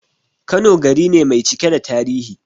Kano gari ne mai cike da tarihi